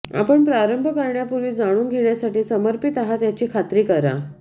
आपण प्रारंभ करण्यापूर्वी जाणून घेण्यासाठी समर्पित आहात याची खात्री करा